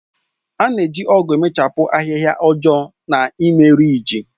A na-eji ọ̀gu na-emechapụ ahịhịa ọjọọ na ime rịjị.